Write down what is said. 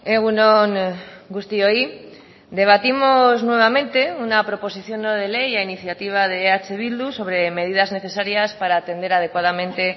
egun on guztioi debatimos nuevamente una proposición no de ley a iniciativa de eh bildu sobre medidas necesarias para atender adecuadamente